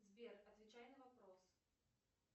сбер отвечай на вопрос